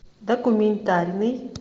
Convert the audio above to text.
документальный